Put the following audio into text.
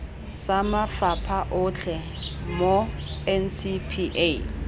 sa mafapha otlhe mo ncpa